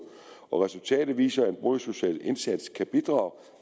resultatet viser at en boligsocial indsats kan bidrage